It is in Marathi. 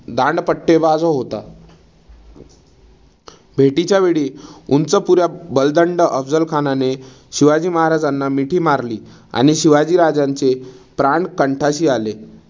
दांडपट्टेबाज होता. भेटीच्या वेळी उंचपुऱ्या बलदंड अफझल खानाने शिवाजी महाराजांना मिठी मारली आणि शिवाजी राजांचे प्राण कंठाशी आले.